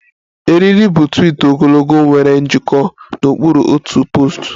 Eriri bu twiit ogologo nwere njikọ n'okpuru otu poostu